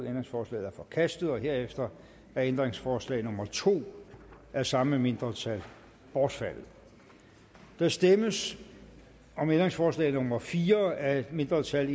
ændringsforslaget er forkastet herefter er ændringsforslag nummer to af samme mindretal bortfaldet der stemmes om ændringsforslag nummer fire af et mindretal og